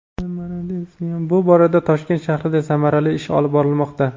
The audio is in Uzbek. Bu borada Toshkent shahrida samarali ish olib borilmoqda.